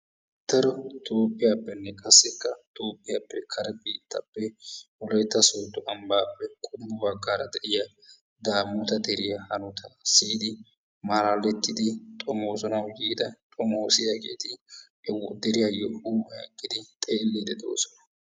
daro toophiyapene qassikka tophiyappe kare biittaappe wolaytta sodo ambaappe qommo bagaara de'iya daamota deriya hanotaa siyidi maalalettidi xoomoosanawu yiida xomoosiyaageeti he deriyaayo huuphiyan eqqidi xomoosiidi de'oosona.